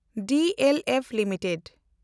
DLF limited